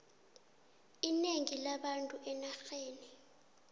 inengi labantu enarheni